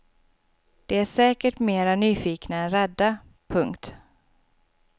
De är säkert mera nyfikna än rädda. punkt